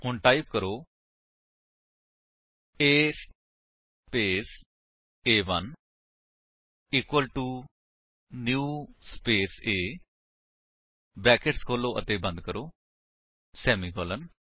ਹੁਣ ਟਾਈਪ ਕਰੋ A space A one equal to new space A brackets ਖੋਲੋ ਅਤੇ ਬੰਦ ਕਰੋ ਸੇਮੀਕਾਲਨ